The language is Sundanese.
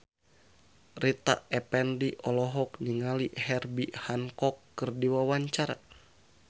Rita Effendy olohok ningali Herbie Hancock keur diwawancara